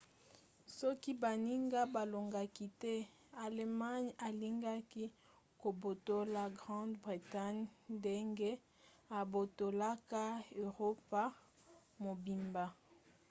soki baninga balongaki te allemagne alingaki kobotola grande bretagne ndenge abotolaka eropa mobimba